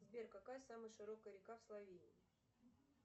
сбер какая самая широкая река в словении